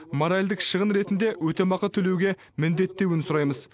моральдық шығын ретінде өтемақы төлеуге міндеттеуін сұраймыз